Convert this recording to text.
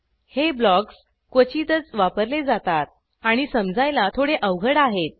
हे ब्लॉक्स क्वचितच वापरले जातात आणि समजायला थोडे अवघड आहेत